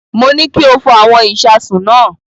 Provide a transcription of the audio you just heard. Mo ní kí o fọ àwọn ìṣasùn náà.